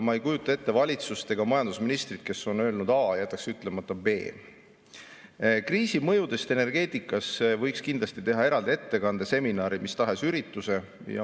Ma ei kujuta ette valitsust ega majandusministrit, kes on öelnud A ja jätab ütlemata B. Kriisi mõjudest energeetikas võiks kindlasti teha eraldi ettekande, seminari või mis tahes ürituse.